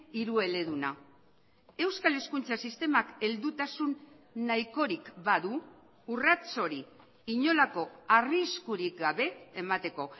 hirueleduna euskal hezkuntza sistemak heldutasun nahikorik badu urrats hori inolako arriskurik gabe emateko